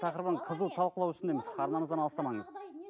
тақырыбын қызу талқылау үстіндеміз арнамыздан алыстамаңыз